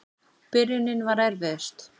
Byrjunin var erfiðust.